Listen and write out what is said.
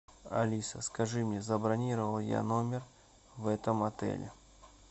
алиса скажи мне забронировал я номер в этом отеле